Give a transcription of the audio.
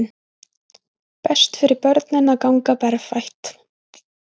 Best fyrir börnin að ganga berfætt